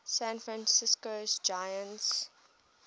san francisco giants